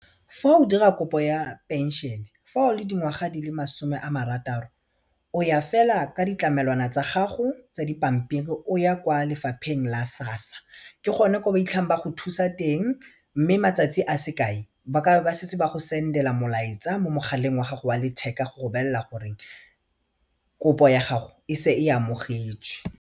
Fa o dira kopo ya pension fa o le dingwaga di le masome a marataro o ya fela ka ditlamelwana tsa gago tsa dipampiri o ya kwa lefapheng la SASSA ke gone ko ba itlhang ba go thusa teng mme matsatsi a se kae ba kabe ba setse ba go send-ela molaetsa mo mogaleng wa gago wa letheka go go bolella gore kopo ya gago e se e amogetšwe.